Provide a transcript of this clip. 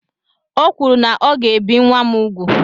O kwuru na ọ ga-ebi nwa m úgwù.